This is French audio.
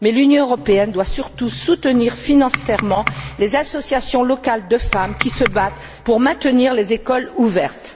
Mais l'Union européenne doit surtout soutenir financièrement les associations locales de femmes qui se battent pour maintenir les écoles ouvertes.